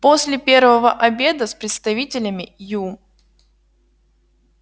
после первого обеда с представителями ю